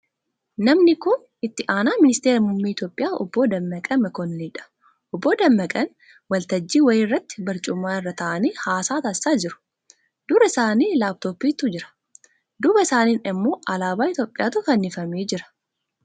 Namni kun itti aanaa ministeera muummee Itiyoophiyaa Obbo Dammaqee Mokkonnoniidha. Obbo Dammaqeen waltajjii wayii irratti barcuma irra taa'anii haasaa taasisaa jiru. Dura isaanii laap-tooppii'tu jira. Duuba isaaniin immoo alaabaa Itiyoophiyaatu fannifamee jira.